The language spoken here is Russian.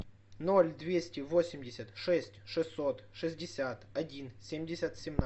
ноль двести восемьдесят шесть шестьсот шестьдесят один семьдесят семнадцать